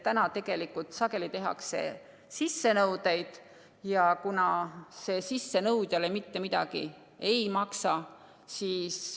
Tegelikult tehakse sissenõudeid sageli ja see sissenõudjale mitte midagi ei maksa.